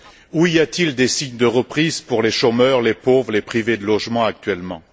Où y a t il des signes de reprise pour les chômeurs, les pauvres, les privés de logement actuellement?